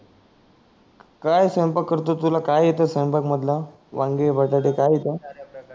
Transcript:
काय स्वयंपाक करतो तुला काय येताय स्वयंपाक मधल वांगे बटाटे काय येत